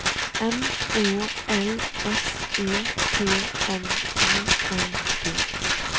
M Å L S E T N I N G